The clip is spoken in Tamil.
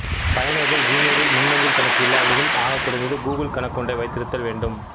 பயனர்கள் ஜிமெயில் மின்னஞ்சல் கணக்கு இல்லாவிடினும் ஆகக்குறைந்தது கூகிள் கணக்கொன்றை வைத்திருத்தல் வேண்டும்